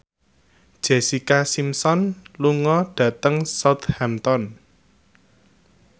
Jessica Simpson lunga dhateng Southampton